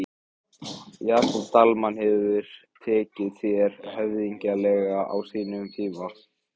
Jakob Dalmann hefur tekið þér höfðinglega á sínum tíma?